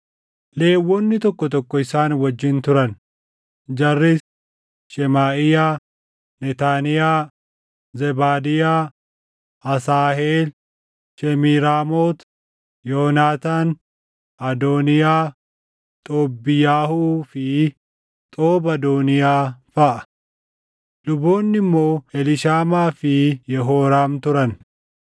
Lewwonni tokko tokko isaan wajjin turan; jarris: Shemaaʼiyaa, Netaaniyaa, Zebaadiyaa, Asaaheel, Shemiiraamoot, Yoonaataan, Adooniyaa, Xoobbiyyahuu fi Xoob-Adooniyaa feʼa. Luboonni immoo Eliishaamaa fi Yehooraam turan.